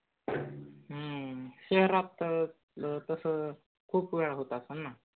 हम्म शहरात तस खूप वेळा होत असलं ना!